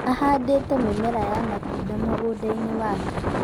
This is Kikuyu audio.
Ahandĩte mimera ya matunda mũgũndainĩ wake